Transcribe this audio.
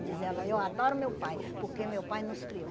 diz ela, eu adoro meu pai, porque meu pai nos criou.